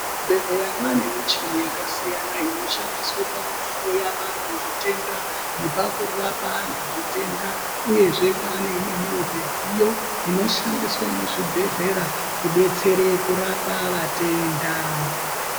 Muzvibhedhlera mwane michini yakasiyana inoshandiswa pakuhloya vantu zvitenda nepakurapa antu zvitenda uyezve kwane imweni midziyo inoshandiswa muzvibhedhlera kudetsera kurapa matenda.